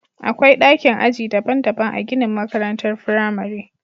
Akwai dakin aji daban-daban a ginin makarantar firamare